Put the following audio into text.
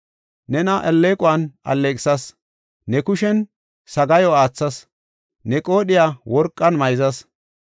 Nena alleequwan alleeqisas; ne kushen sagaayo aathas; ne qoodhiya worqan mayzas.